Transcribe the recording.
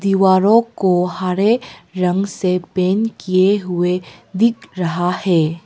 दीवारों को हरे रंग से पेंट किए हुए दिख रहा है।